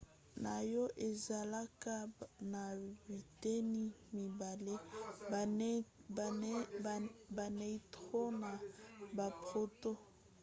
noyau ezalaka na biteni mibale - baneutron na baproton